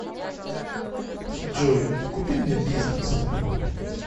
джой купи мне бизнес